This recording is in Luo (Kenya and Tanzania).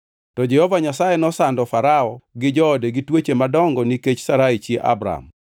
To Jehova Nyasaye nosando Farao gi joode gi tuoche madongo nikech Sarai chi Abram.